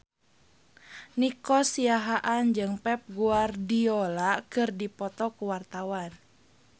Nico Siahaan jeung Pep Guardiola keur dipoto ku wartawan